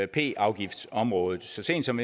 p afgiftsområdet så sent som